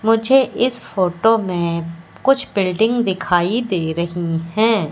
मुझे इस फोटो में कुछ बिल्डिंग दिखाई दे रही हैं।